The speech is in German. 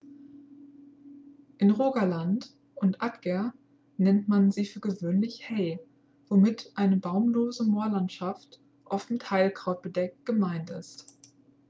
in rogaland und agder nennt man sie für gewöhnlich hei womit eine baumlose moorlandschaft oft mit heidekraut bedeckt gemeint ist